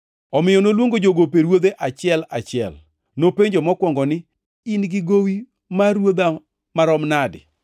“Omiyo noluongo jogope ruodhe achiel achiel. Nopenjo mokwongo ni, ‘In-gi gowi mar ruodha marom nadi?’